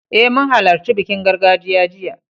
Eh, mun halarci bikin gargajiya jiya.